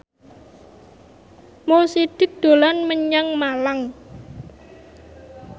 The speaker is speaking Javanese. Mo Sidik dolan menyang Malang